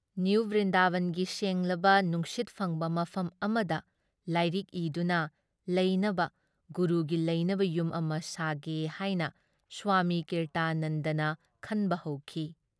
ꯅꯤꯌꯨꯨ ꯕ꯭ꯔꯤꯟꯗꯥꯕꯟꯒꯤ ꯁꯦꯡꯂꯕ ꯅꯨꯡꯁꯤꯠ ꯐꯪꯕ ꯃꯐꯝ ꯑꯃꯗ ꯂꯥꯏꯔꯤꯛ ꯏꯗꯨꯅ ꯂꯩꯅꯕ ꯒꯨꯔꯨꯒꯤ ꯂꯩꯅꯕ ꯌꯨꯝ ꯑꯃ ꯁꯥꯒꯦ ꯍꯥꯏꯅ ꯁ꯭ꯋꯥꯃꯤ ꯀꯤꯔꯇꯥꯅꯟꯗꯅ ꯈꯟꯕ ꯍꯧꯈꯤ ꯫